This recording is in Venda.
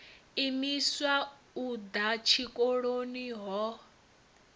imiswa u ḓa tshikoloni ho